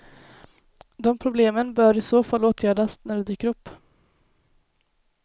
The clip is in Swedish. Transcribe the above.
De problemen bör i så fall åtgärdas när de dyker upp.